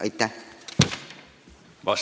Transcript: Aitäh!